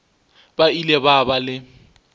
ba ile ba ba le